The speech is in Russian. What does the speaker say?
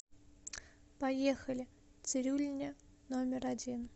поехали цирюльня номер один